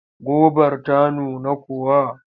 Gobar ta nuna kuwa?